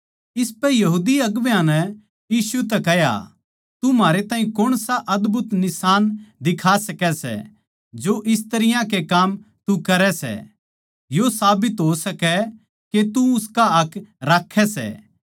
इसपै यहूदी अगुवां नै यीशु तै कह्या तू म्हारै ताहीं कौणसा अदभुत निशान दिखा सकै सै जो इस तरियां के काम तू करै सै यो साबित हो सकै के तू उसका हक राक्खै सै